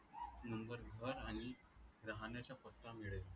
no वर आणि राहणायच्या पत्ता मिळेल